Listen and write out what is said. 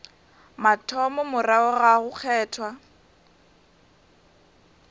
mathomo morago ga go kgethwa